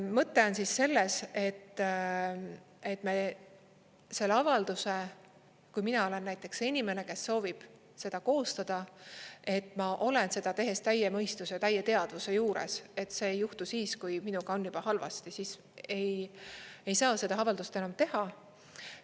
Mõte on selles, et me selle avalduse, kui mina olen näiteks see inimene, kes soovib seda koostada, et ma olen seda tehes täie mõistuse ja täie teadvuse juures, et see ei juhtu siis, kui minuga on juba halvasti, siis ei saa seda avaldust enam teha.